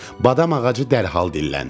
Badam ağacı dərhal dilləndi.